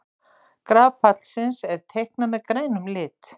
Graf fallsins er teiknað með grænum lit.